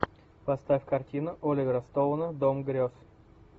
поставь картину оливера стоуна дом грез